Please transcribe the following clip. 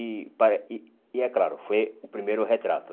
E pare e e é claro, foi o primeiro retrato.